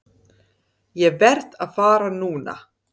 Ég verð að fara núna!